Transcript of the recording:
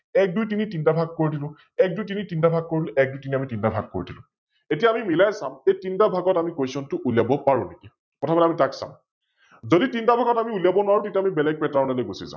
এক দুই তিনি তিনিটা ভাগ কৰি দিলো, এক দুই তিনি তিনিটা ভাগ কৰি দিলো, এক দুই তিনি তিনিটা ভাগ কৰি দিলো । এতিয়া আমি মিলাই চাম এই তিনিটা ভাগত আমি Question টো উলিয়া পাৰো নে কি? প্ৰথমতে আমি তাক চাম । যদি আমি তিনিটা ভাগত উলিয়াব নোৱাৰো তেতিয়া আমি বেলেগ Pattern লৈ গুচি যাম ।